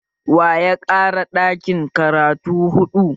Waya ƙara ɗakin karatu huɗu?